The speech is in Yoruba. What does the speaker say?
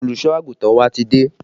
Olùsọ àgùntàn wa ti dé